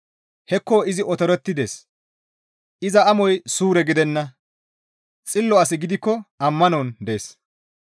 «Hekko izi otorettides; iza amoy suure gidenna; xillo asi gidikko ammanon dees.